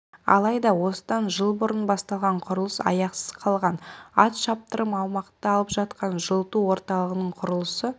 алайда осыдан жыл бұрын басталған құрылыс аяқсыз қалған ат шаптырым аумақты алып жатқан жылыту орталығының құрылысы